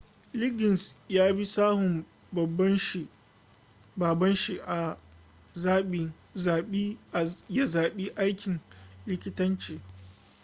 liggins yabi sahun baban shi ya zabi aikin likitanci